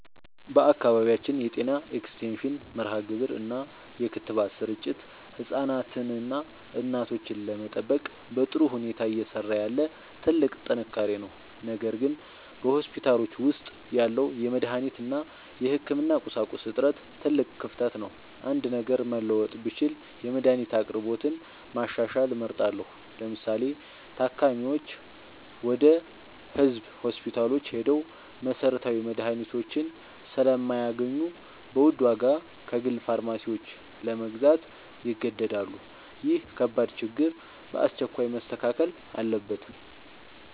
በአካባቢያችን የጤና ኤክስቴንሽን መርሃግብር እና የክትባት ስርጭት ህፃናትንና እናቶችን ለመጠበቅ በጥሩ ሁኔታ እየሰራ ያለ ትልቅ ጥንካሬ ነው። ነገር ግን በሆስፒታሎች ውስጥ ያለው የመድኃኒት እና የህክምና ቁሳቁስ እጥረት ትልቅ ክፍተት ነው። አንድ ነገር መለወጥ ብችል የመድኃኒት አቅርቦትን ማሻሻል እመርጣለሁ። ለምሳሌ፤ ታካሚዎች ወደ ህዝብ ሆስፒታሎች ሄደው መሰረታዊ መድኃኒቶችን ስለማያገኙ በውድ ዋጋ ከግል ፋርማሲዎች ለመግዛት ይገደዳሉ። ይህ ከባድ ችግር በአስቸኳይ መስተካከል አለበት።